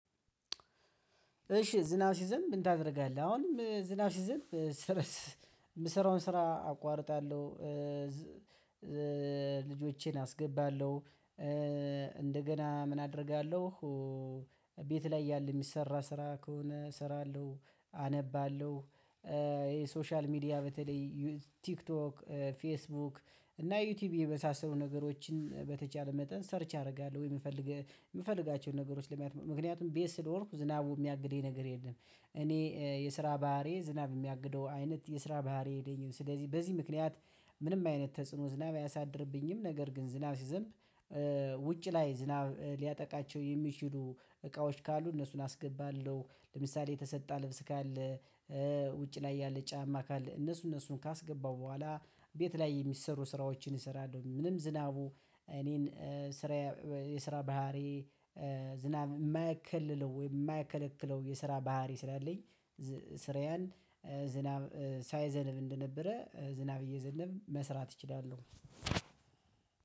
እሺ ዝናብ ሲዘንብ ምን ታደርጋለህ? አሁንም ዝናብ ሲዝም ስረስ የምሰራውን ስራ አቋርጣለሁ። ልጆቼን አስገባለሁ እንደገና ምን አደርጋለሁ። ቤት ላይ ያለ የሚሰራ ስራ ከሆነ እሰራለሁ። አነባለሁ ይሄ ሶሻል ሚዲያ በተለይ ቲክቶክ ፌስቡክ እና ዩቲዩብ የመሳሰሉ ነገሮችን በተቻለ መጠን ሰርች አደርጋለሁ የምፈልግ የምፈልጋቸዉን ነገሮች ለማየት ምክንያቱም ቤት ስለኖርኩ ዝናቡ የሚያግደኝ ነገር የለም። እኔ የስራ ባህሪ ዝናብ የሚያግደው አይነት የስራ ባህሪ ዬለኝም ስለዚህ በዚህ ምክንያት ምንም አይነት ተጽዕኖ ዝናብ አያሳድርብኝም። ነገር ግን ዝናብ ሲዘንብ ውጭ ላይ ዝናብ ሊያጠቃቸው የሚችሉ እቃዎች ካሉ እነሱን አስገባለሁ ለምሳሌ የተሰጣ ልብስ ካለ ውጭ ላይ ያለ ጫማ ካለ እነሱ እነሱን ካስገባው በኋላ ቤት ላይ የሚሰሩ ስራዎችን እሰራለሁ። ምንም ዝናቡ እኔን ስራ የስራ ባህሪዬ ዝናብ የማያከለለው ወይ የማያከለክለው የስራ ባህሪ ስላለኝ ስራዬን ዝናብ ሳይዘነብ እንደነበረ ዝናብ እየዘነብ መስራት እችላለሁ።